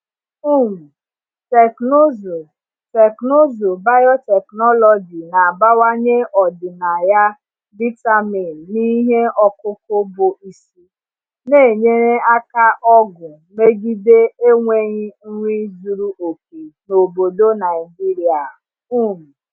um Teknụzụ Teknụzụ biotechnology na-abawanye ọdịnaya vitamin n’ihe ọkụkụ bụ isi, na-enyere aka ọgụ megide enweghị nri zuru oke n’obodo Naijiria. um